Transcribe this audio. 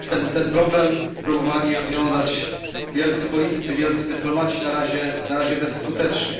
Ten problem próbowali rozwiązać wielcy politycy, wielcy dyplomaci na razie bezskutecznie.